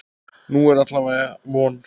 Nú er alla vega von.